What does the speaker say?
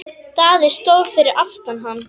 Daði stóð fyrir aftan hann.